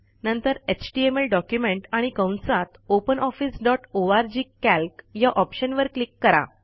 नंतर HTML document आणि कंसातopen officeओआरजी कॅल्क या ऑप्शनवर क्लिक करा